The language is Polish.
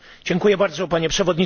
Panie Przewodniczący!